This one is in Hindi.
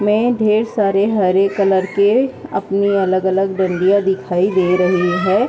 में ढ़ेर सारे हरे कलर के अपने अलग-अलग डंडिया दिखाई दे रही है।